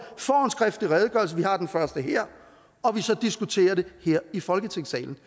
får en skriftlig redegørelse vi har den første her og vi så diskuterer den her i folketingssalen